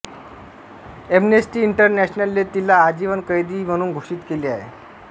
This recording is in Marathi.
ऍम्नेस्टी इंटरनॅशनलने तिला आजीवन कैदी म्हणून घोषित केले आहे